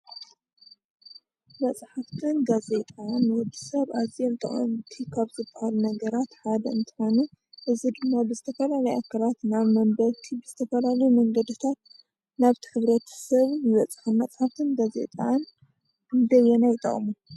መፅሓፈትን ጋዜጣን ንወዲሰብ ኣዝዮም ጠቐምቲ ካብ ዝበሃሉ ነገራት ሓደ እንትኾኑ እዚ ድማ ብዝተፈላለየ ኣካላት ናብ መንበብቲ ብዝተፈላለየ መንገድታት ናብቲ ሕብረተሰብ ይበፅሑ። መፅሓፈትን ጋዜጣን ክንደየናይ ይጠቕሙ?